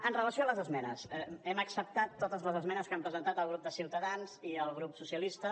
amb relació a les esmenes hem acceptat totes les esmenes que han presentat el grup de ciutadans i el grup socialistes